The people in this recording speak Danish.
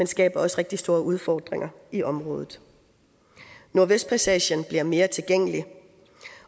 skaber også rigtig store udfordringer i området nordvestpassagen bliver mere tilgængelig